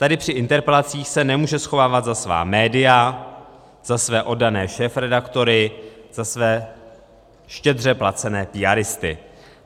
Tady při interpelacích se nemůže schovávat za svá média, za své oddané šéfredaktory, za své štědře placené píáristy.